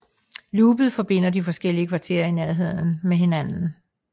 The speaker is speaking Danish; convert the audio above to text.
Loopet forbinder de forskellige kvarterer i Nærheden med hinanden